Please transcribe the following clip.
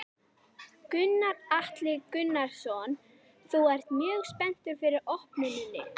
Gunnar Atli Gunnarsson: Þú ert mjög spenntur fyrir opnuninni?